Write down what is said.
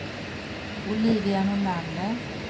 Olivia Nordlander